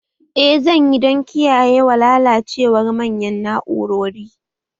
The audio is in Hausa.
Eh zan yi dan kiyayewa lalacewar manyan na'urori